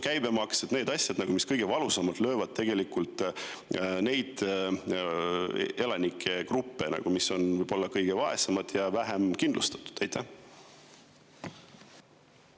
Need on ju need asjad, mis kõige valusamalt löövad nende elanikegruppide pihta, võib-olla kõige vaesemad ja vähem kindlustatud.